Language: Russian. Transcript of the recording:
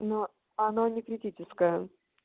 но она не критическая